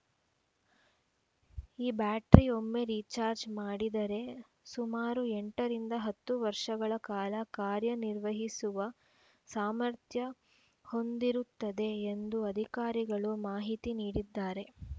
ಈ ಬ್ಯಾಟರಿ ಒಮ್ಮೆ ರೀಚಾರ್ಜ್ ಮಾಡಿದರೆ ಸುಮಾರು ಎಂಟರಿಂದ ಹತ್ತು ವರ್ಷಗಳ ಕಾಲ ಕಾರ್ಯನಿರ್ವಹಿಸುವ ಸಾಮರ್ಥ್ಯ ಹೊಂದಿರುತ್ತದೆ ಎಂದು ಅಧಿಕಾರಿಗಳು ಮಾಹಿತಿ ನೀಡಿದ್ದಾರೆ